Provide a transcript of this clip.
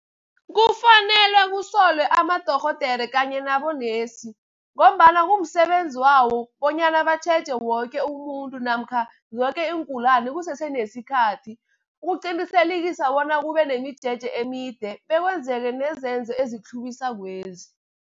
Kufanele kusolwe amadorhodere kanye nabonesi, ngombana kumsebenzi wawo bonyana batjheje woke umuntu namkha zoke iingulani kusese nesikhathi, ukuqinisekisa bona kube nemijeje emide bekwenzeke nezenzo ezitlhuwiswakezi.